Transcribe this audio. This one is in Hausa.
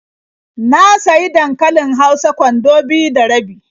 Na sayi dankalin hausa kwando biyu da rabi.